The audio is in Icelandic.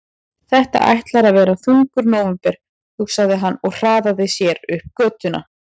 Þetta ætlar að verða þungur nóvember, hugsaði hann og hraðaði sér upp götuna.